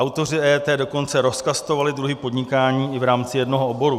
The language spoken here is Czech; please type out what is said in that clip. Autoři EET dokonce rozkastovali druhy podnikání i v rámci jednoho oboru.